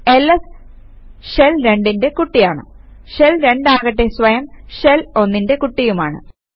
LS shell 2ന്റെ കുട്ടിയാണ് shell 2 ആകട്ടെ സ്വയം ഷെൽ 1ന്റെ കുട്ടിയുമാണ്